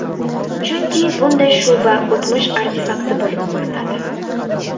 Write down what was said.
Chunki bunday shuba o‘tmish artefakti bo‘lib ko‘rinadi.